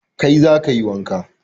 Kai za ka yi wanka